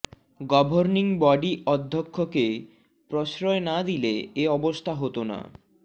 governing body অধ্যক্ষকে প্রশ্রয় না দিলে এ অবস্থা হতো না